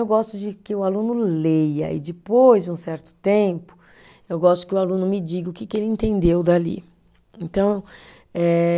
Eu gosto de que o aluno leia e, depois de um certo tempo, eu gosto que o aluno me diga o que que ele entendeu dali, então eh